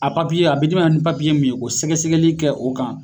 A a bi d'i ma ni min ye o sɛgɛsɛgɛli kɛ o kan